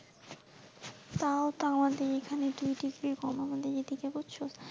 তও তো আমাদের এখানে দু ডিগ্রী কম আমাদের এই দিকে বুঝছো?